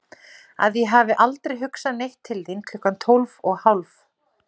Að ég hafi aldrei hugsað neitt til þín klukkan tólf og hálf?